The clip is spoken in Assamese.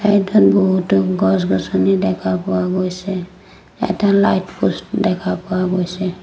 এই ঠাইত বহুতো গছ-গছনি দেখা পোৱা গৈছে এটা লাইট প'ষ্ট দেখা পোৱা গৈছে।